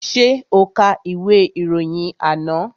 Ṣé o ka ìwé ìròyìn àná?